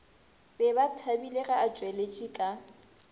be bathabile ge atšweletše ka